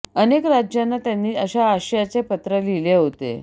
अनेक राज्यांना त्यांनी तशा आशयाचे पत्र लिहिले होते